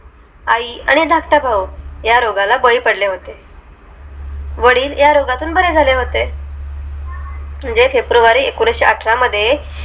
आई आणि धाकटा भाऊ या रोगाला बळी पडले होते वडील ह्या रोगातून बरे झाले होते म्हणजे February एकोणीशेअठरा मध्ये